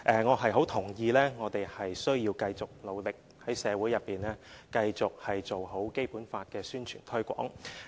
我很認同我們須繼續努力，在社會內繼續做好《基本法》的宣傳推廣。